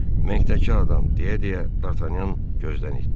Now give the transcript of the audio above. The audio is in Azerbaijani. Menkdəki adam, deyə-deyə Dartanyan gözdən itdi.